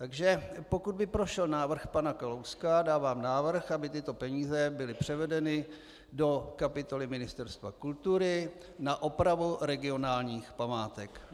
Takže pokud by prošel návrh pana Kalouska, dávám návrh, aby tyto peníze byly převedeny do kapitoly Ministerstva kultury na opravu regionálních památek.